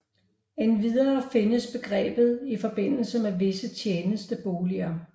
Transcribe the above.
Endvidere findes begrebet i forbindelse med visse tjenesteboliger